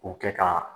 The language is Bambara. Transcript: O kɛ ka